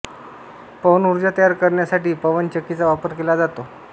पवन ऊर्जा तयार करण्यासाठी पवनचक्कीचा वापर केला जातो